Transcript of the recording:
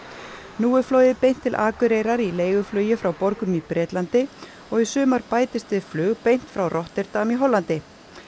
nú er flogið beint til Akureyrar í leiguflugi frá borgum í Bretlandi og í sumar bætist við flug beint frá Rotterdam í Hollandi